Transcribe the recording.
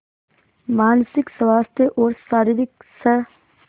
मानसिक स्वास्थ्य और शारीरिक स्